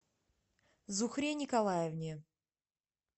зухре николаевне